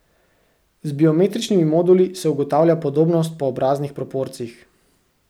Z biometričnimi moduli se ugotavlja podobnost po obraznih proporcih.